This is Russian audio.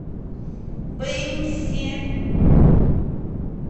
бэньси